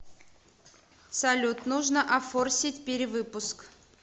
салют нужно офорсить перевыпуск